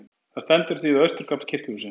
Það stendur því við austurgafl kirkjuhússins.